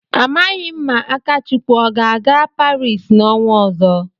Amaghị ma Akachukwu ọ ga-aga Paris n'ọnwa ọzọ.